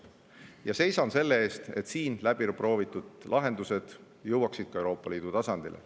Ja seisan selle eest, et siin läbi proovitud lahendused jõuaksid ka Euroopa Liidu tasandile.